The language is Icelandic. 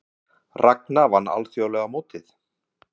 Ragna vann alþjóðlega mótið